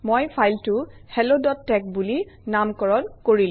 মই ফাইলটো helloতেশ বুলি নামকৰণ কৰিলো